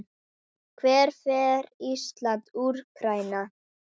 Hvernig fer Ísland- Úkraína?